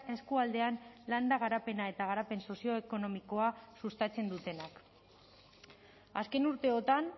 eskualdean landa garapena eta garapen sozioekonomikoa sustatzen dutenak azken urteotan